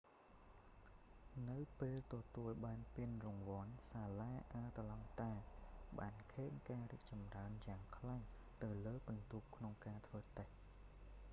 នៅពេលទទួលបានពានរង្វាន់ សាលាអាត្លង់តាបានឃើញការរីកចម្រើនយ៉ាងខ្លាំងទៅលើពិន្ទុក្នុងការធ្វើតេស្ដ